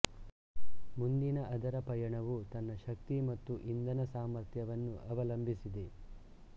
ಮುಂದಿನ ಅದರ ಪಯಣವು ತನ್ನ ಶಕ್ತಿ ಮತ್ತು ಇಂಧನ ಸಾಮರ್ಥ್ಯವನ್ನು ಅವಲಂಬಿಸಿದೆ